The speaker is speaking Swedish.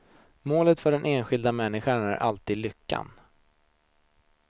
Målet för den enskilda människan är alltså lyckan.